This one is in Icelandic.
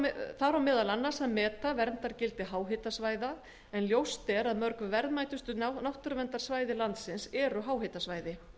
rammaáætlun þar á meðal annars að meta verndargildi háhitasvæða en ljóst er að mörg verðmætustu náttúruverndarsvæði landsins eru háhitasvæði